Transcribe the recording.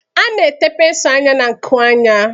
A na-ete pensụl anya na-nkụ anya.